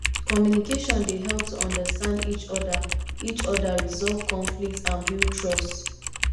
communication dey help to understand each oda each oda resolve conflicts and build trust